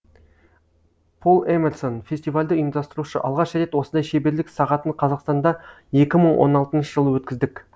пол эмерсон фестивальді ұйымдастырушы алғаш рет осындай шеберлік сағатын қазақстанда екі мың он алтыншы жылы өткіздік